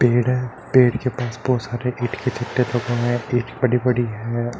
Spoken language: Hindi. पेड़ हैं। पेड़ के पास में बोहोत सारे ईंट के चट्टे बने हैं। ईंट बड़ी-बड़ी हैं।